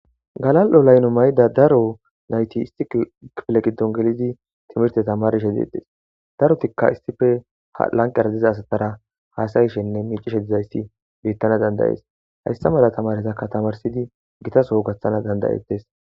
Galali''o layilo mayida daro nayit issi kifile giddon gelid timorte tamarishshe detees.darotikka haa laniqera diza asatara hasayishshenne miccishshe dizayiss betana danida'es.hayissa mala tamarettakka tamarissid Gita Soo gaththana danida'etees.